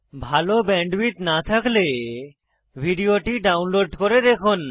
ভাল ব্যান্ডউইডথ না থাকলে ভিডিওটি ডাউনলোড করে দেখুন